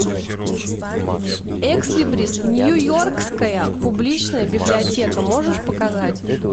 экслибрис нью йоркская публичная библиотека можешь показать